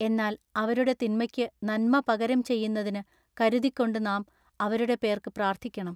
എന്നാൽ അവരുടെ തിന്മയ്ക്കു നന്മ പകരം ചെയ്യുന്നതിനു കരുതിക്കൊണ്ടു നാം അവരുടെ പേർക്കു പ്രാർത്ഥിക്കണം.